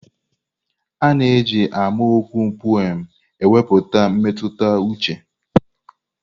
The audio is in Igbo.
A na-eji amaokwu pụem ekwupụta mmetụta uche.